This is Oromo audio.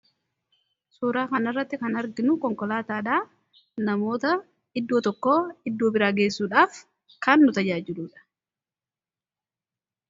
Suuraa kanarratti kan arginu konkolaataadhaa. Namoota iddoo tokko iddoo biraa geessuudhaaf kan nu tajaajiluudha.